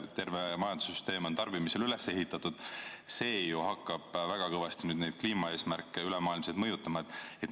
Terve majandussüsteem on tarbimisele üles ehitatud ja see ju hakkab väga kõvasti neid kliimaeesmärke üle maailma mõjutama.